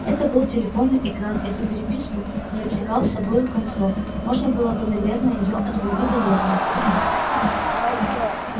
это был телефонный экран эту переписку не отсекал с обоих концов можно было бы наверное её от земли до неба раскатать